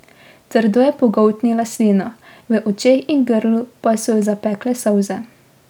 Trdo je pogoltnila slino, v očeh in grlu pa so jo zapekle solze.